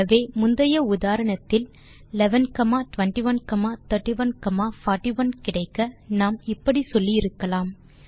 ஆகவே முந்தைய உதாரணத்தில் 11 21 31 41 கிடைக்க நாம் இப்படி சொல்லி இருக்கலாம்